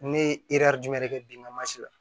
Ne ye jumɛn de kɛ biŋamasi la